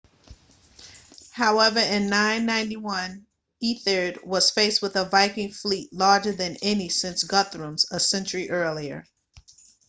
however in 991 ethelred was faced with a viking fleet larger than any since guthrum's a century earlier